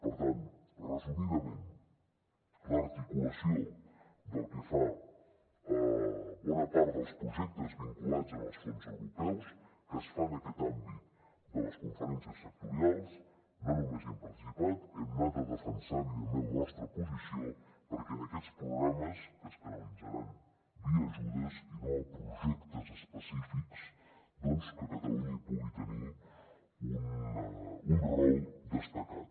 per tant resumidament en l’articulació pel que fa a bona part dels projectes vinculats als fons europeus que es fa en aquest àmbit de les conferències sectorials no només hi hem participat hi hem anat a defensar evidentment la nostra posició perquè en aquests programes que es canalitzaran via ajudes i no a projectes específics doncs que catalunya hi pugui tenir un rol destacat